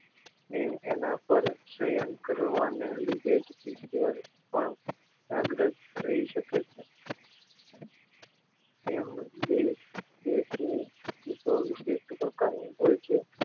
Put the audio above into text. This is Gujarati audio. ને એના પર સસ્રય્ન કરવા ને લીધે જ ઈશ્વર પણ જાગ્રત રહી શકે છે માણસ વિશેષ પ્રકાર ની હોય છે